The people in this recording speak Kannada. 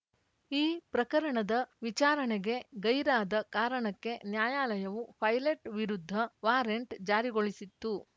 ಈ ಪ್ರಕರಣದ ವಿಚಾರಣೆಗೆ ಗೈರಾದ ಕಾರಣಕ್ಕೆ ನ್ಯಾಯಾಲಯವು ಪೈಲೆಟ್‌ ವಿರುದ್ಧ ವಾರೆಂಟ್‌ ಜಾರಿಗೊಳಿಸಿತ್ತು